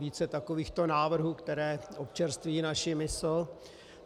Více takovýchto návrhů, které občerství naši mysl.